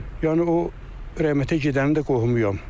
Yəni o rəhmətə gedənin də qohumuyam.